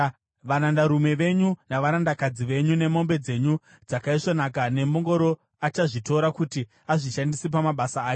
Varandarume venyu navarandakadzi venyu nemombe dzenyu dzakaisvonaka nembongoro achazvitora kuti azvishandise pamabasa ake.